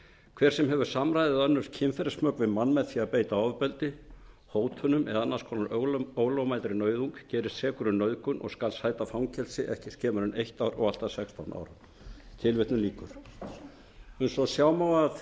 hver sem hefur samræði eða önnur kynferðismök við mann með því að beita ofbeldi hótunum eða annars konar ólögmætri nauðung gerist sekur um nauðgun og skal sæta fangelsi ekki skemur en eitt ár og allt að sextán árum eins og sjá má af